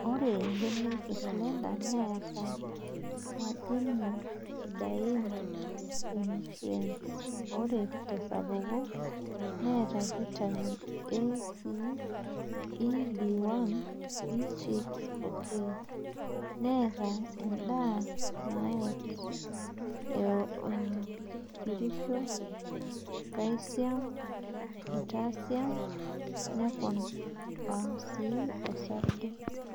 Ore mbenek e slender neata madinin sidain enutrience. ore tesapuko neata Vitamin A,C,E,B1,B6 oo K , neata endaa naitopirisho, kalsium, potashium, neponaa sii osarge.